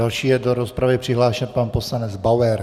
Další je do rozpravy přihlášen pan poslanec Bauer.